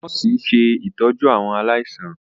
nọọsi ṣe ìtọjú àwọn aláìsàn.